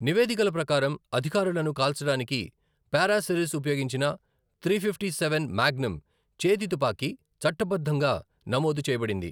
నివేదికల ప్రకారం, అధికారులను కాల్చడానికి పారాసిరిస్ ఉపయోగించిన త్రి ఫిఫ్టీ సెవెన్ మాగ్నమ్ చేతి తుపాకీ చట్టబద్ధంగా నమోదు చేయబడింది.